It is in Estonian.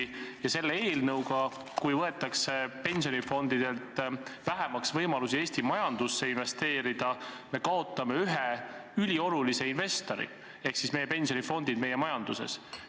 Ja kui selle eelnõuga võetakse pensionifondidel vähemaks võimalusi Eesti majandusse investeerida, siis me kaotame ühe üliolulise investori ehk siis pensionifondid meie majanduses.